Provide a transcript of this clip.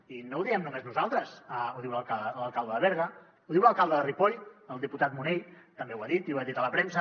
i no ho diem només nosaltres ho diu l’alcalde de berga ho diu l’alcalde de ripoll el diputat munell també ho ha dit i ho ha dit a la premsa